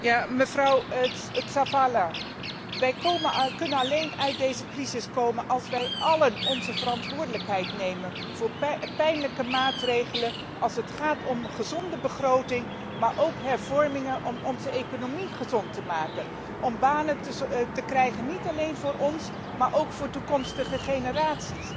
Mevrouw Tzavela, wij kunnen alleen uit deze crisis komen als wij allen onze verantwoordelijkheid nemen voor pijnlijke maatregelen als het gaat om een gezonde begroting, maar ook om hervormingen om onze economie gezond te maken, om banen te creëren niet alleen voor ons, maar ook voor toekomstige generaties.